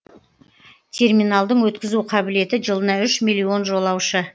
терминалдың өткізу қабілеті жылына үш миллион жолаушы